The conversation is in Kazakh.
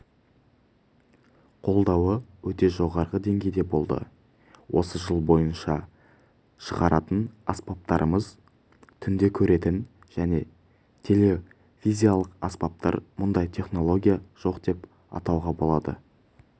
қолдауы өте жоғары деңгейде болды осы жыл бойынша шығаратын аспаптарымыз түнде көретін және тепловизиялық аспаптар мұндай технология жоқ деп айтуға болады